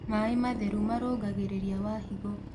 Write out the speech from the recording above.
Mae matherũ marũngagĩrĩrĩa wa hĩgo